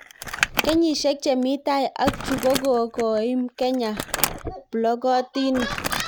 Kenyishek chemi tai ak chu kokokoim Kenya plokotinik